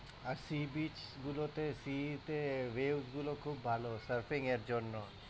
আর sea beach গুলোতে sea তে range খুব ভাল surfing এর জন্যে.